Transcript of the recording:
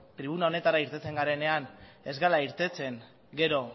tribuna honetara irtetzen garenean ez gara irtetzen gero